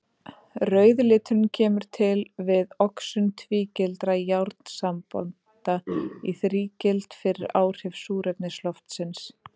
Rauði liturinn kemur til við oxun tvígildra járnsambanda í þrígild fyrir áhrif súrefnis loftsins.